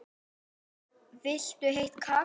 Viltu heitt kakó?